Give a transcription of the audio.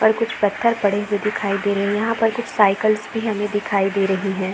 और कुछ पत्थर पड़े हुवे दिखाई दे रहे है यहाँ पर कुछ साइकल्स भी हमे दिखाई दे रही है।